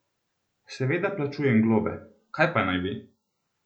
Seveda plačujem globe, kaj pa naj bi?